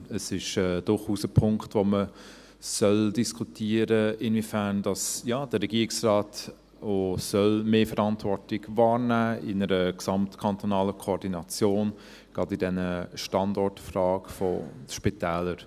Es ist durchaus ein Punkt, den man diskutieren soll, inwiefern der Regierungsrat mehr Verantwortung wahrnehmen soll in einer gesamtkantonalen Koordination, gerade in diesen Standortfragen der Spitäler.